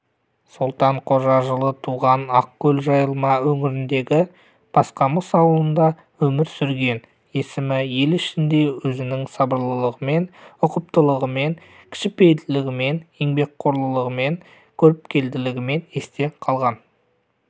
солтан қожа жылы туған ақкөл-жайылма өңіріндегі басқамыс ауылында өмір сүрген есімі ел ішінде өзінің сабырлылығымен ұқыптылығымен кішіпейілділігімен еңбекқорлығымен көріпкелдігімен есте қалған